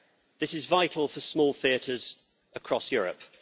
This is vital for small theatres across Europe.